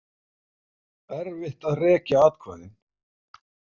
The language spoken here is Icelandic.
Erfitt að rekja atkvæðin